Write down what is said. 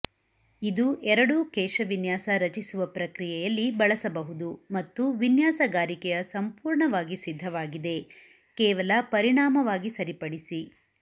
ಇದು ಎರಡೂ ಕೇಶವಿನ್ಯಾಸ ರಚಿಸುವ ಪ್ರಕ್ರಿಯೆಯಲ್ಲಿ ಬಳಸಬಹುದು ಮತ್ತು ವಿನ್ಯಾಸಗಾರಿಕೆಯ ಸಂಪೂರ್ಣವಾಗಿ ಸಿದ್ಧವಾಗಿದೆ ಕೇವಲ ಪರಿಣಾಮವಾಗಿ ಸರಿಪಡಿಸಿ